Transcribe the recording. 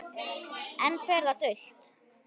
Enn fer það dult